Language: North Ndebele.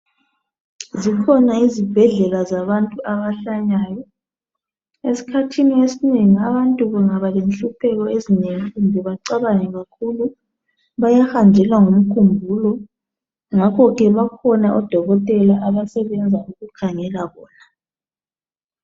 Zikhona izibhedlela zabantu abahlanyayo esikhathini esinengi abantu bengaba lenhlupheko ezinengi kumbe becabange kakhulu bayahanjelwa ngumkhumbulo ngakho ke bakhona odokotela abasebenza bekhangela khona.